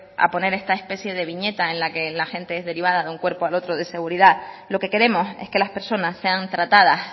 a poner esta especie de viñeta en la que la gente es derivada de un cuerpo al otro de seguridad lo que queremos es que las personas sean tratadas